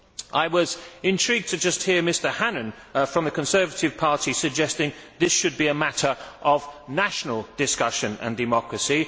I was intrigued just now to hear Mr Hannan from the Conservative Party suggesting this should be a matter of national discussion and democracy.